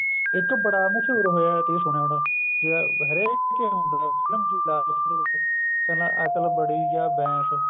ਇੱਕ ਬੜਾ ਮਸ਼ਹੂਰ ਹੋਇਆ ਤੁਸੀਂ ਸੁਣਿਆ ਹੋਣਾ ਹਰੇਕ ਸਾਲਾ ਅਕਲ ਬੜੀ ਜਾਂ ਬੈਂਸ